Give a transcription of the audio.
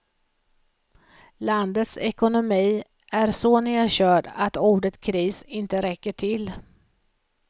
Landets ekonomi är så nedkörd att ordet kris inte räcker till.